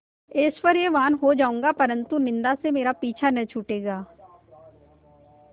ऐश्वर्यवान् हो जाऊँगा परन्तु निन्दा से मेरा पीछा न छूटेगा